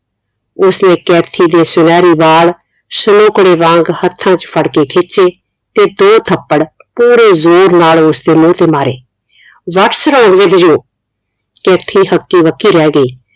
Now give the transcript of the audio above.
ਉਸਨੇ ਕੈਥੀ ਦੇ ਸੁਨਹਿਰੇ ਵਾਲ ਸ਼ਲੋਕੜੇ ਵਾਂਗ ਹੱਥਾਂ ਚ ਫੜ ਕੇ ਖਿਚੇ ਤੇ ਦੋ ਥੱਪੜ ਪੂਰੇ ਜ਼ੋਰ ਨਾਲ ਉਸਦੇ ਮੂੰਹ ਤੇ ਮਾਰੇ whats wrong with you Kathy ਹੱਕੀ ਬੱਕੀ ਰਹਿ ਗਈ